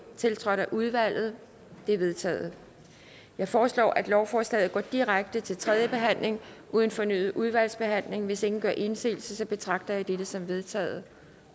tiltrådt af udvalget det er vedtaget jeg foreslår at lovforslaget går direkte til tredjebehandling uden fornyet udvalgsbehandling hvis ingen gør indsigelse betragter jeg dette som vedtaget